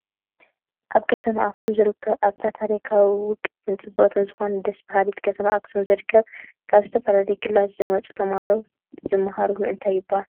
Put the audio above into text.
ኣብ ከተማ ኣክሱም ዝርከቡ ኣብታ ታሪካዊትን ውቅብትን ፅብቅትን ዝኮነት ደስ ብሃሊት ከተማ ኣክሰም ዝርከብ ካብ ዝተፈላለየ ክልላት ዝመፅኡ ተማህሮ ዝምሃርሉ እንታይ ይብሃል?